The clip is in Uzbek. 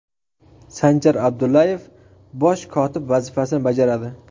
Sanjar Abdullayev bosh kotib vazifasini bajaradi.